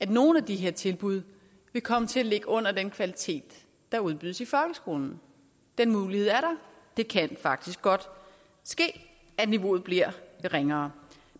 af nogle af de her tilbud vil komme til at ligge under den kvalitet der udbydes i folkeskolen den mulighed er der det kan faktisk godt ske at niveauet bliver lidt ringere